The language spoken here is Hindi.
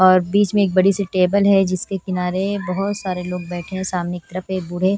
और बीच में एक बड़ी सी टेबल है जिसके किनारे बहुत सारे लोग बैठे हैं सामने की तरफ एक बूढ़े --